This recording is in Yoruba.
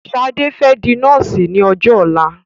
Ṣadé fẹ́ di nọ́ọ̀sì ní ọjọ́ ọ̀la.